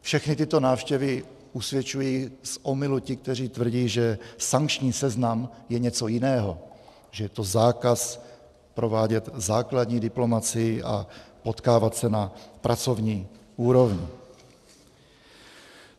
Všechny tyto návštěvy usvědčují z omylu ty, kteří tvrdí, že sankční seznam je něco jiného, že je to zákaz provádět základní diplomacii a potkávat se na pracovní úrovni.